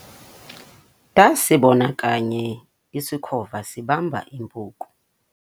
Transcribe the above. ndasibona kanye isikhova sibamba impuku